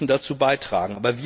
sie müssen dazu beitragen.